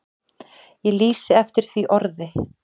Ég lýsi eftir því orði.